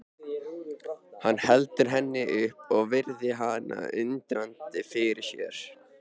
Hann heldur henni upp og virðir hana undrandi fyrir sér.